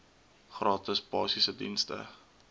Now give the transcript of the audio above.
gratis basiese dienste